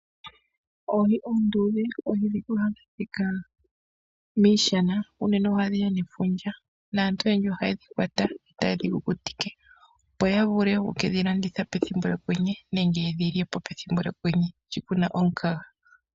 Oohi oondudhe ohadhi adhika miishana ,unene ohadhiya nefundja naantu oyendji ohayedhi lwata tayedhi kukutike opo yavule okudhi landitha pethimbo lyokwenye sho kuna omukaga.